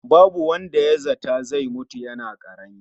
Babu wanda ya zata zai mutu yana ƙarami